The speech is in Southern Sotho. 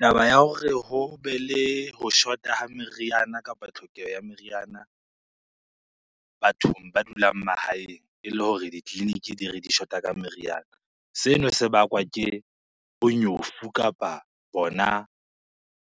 Taba ya hore ho be le ho shota ha meriana kapa tlhokeho ya meriana bathong ba dulang mahaeng e le hore ditleliniki di re di shota ka meriana. Seno se bakwa ke bonyofu kapa bona